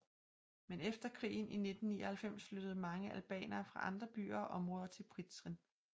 Men efter krigen i 1999 flyttede mange albanere fra andre byer og områder til Prizren